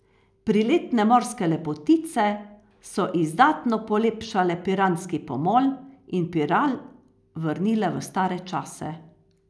Priletne morske lepotice so izdatno polepšale piranski pomol in Piran vrnile v stare čase.